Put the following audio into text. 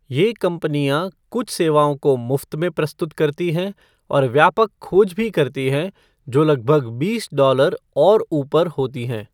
ये कंपनियाँ कुछ सेवाओं को मुफ़्त में प्रस्तुत करती हैं और व्यापक खोज भी करती हैं जो लगभग बीस डॉलर और ऊपर होती हैं।